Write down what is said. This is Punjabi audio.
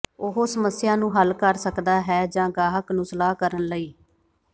ਉਹ ਸਮੱਸਿਆ ਨੂੰ ਹੱਲ ਕਰ ਸਕਦਾ ਹੈ ਜ ਗਾਹਕ ਨੂੰ ਸਲਾਹ ਕਰਨ ਲਈ